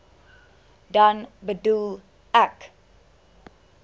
dan bedoel ek